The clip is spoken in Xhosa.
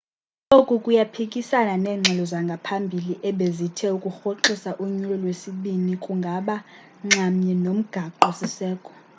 oku kuyaphikisana neengxelo zangaphambili ebezithe ukurhoxisa unyulo lwesibini kungaba nxamnye nomgaqo siseko